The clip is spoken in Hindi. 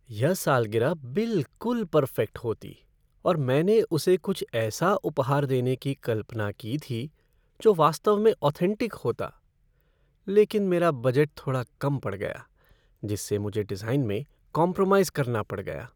यह सालगिरह बिलकुल पर्फ़ेक्ट होती और मैंने उसे कुछ ऐसा उपहार देने की कल्पना की थी जो वास्तव में ऑथेन्टिक होती, लेकिन मेरा बजट थोड़ा कम पड़ गया जिससे मुझे डिज़ाइन में कॉम्प्रोमाइज़ करना पड़ गया।